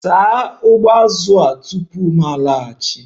Na-asa ụgbụ azụ tupu m laghachi!